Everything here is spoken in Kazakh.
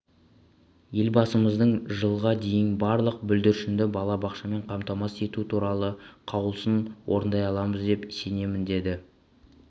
елбасымыздың жылға дейін барлық бүлдіршінді балабақшамен қамтамасыз ету туралы қаулысын орындай аламыз деп сенемін деді